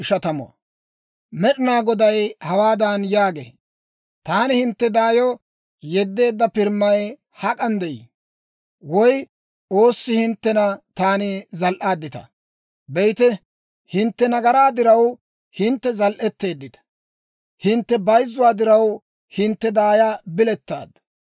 Med'inaa Goday hawaadan yaagee; «Taani hintte daayo yeddeedda pirimay hak'an de'ii? Woy oossi hinttena taani zal"aadditaa? Be'ite, hintte nagaraa diraw, hintte zal"eteeddita; hintte bayzzuwaa diraw, hintte daaya bilettaaddu.